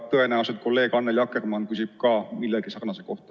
Tõenäoliselt kolleeg Annely Akkermann küsib samuti millegi sarnase kohta.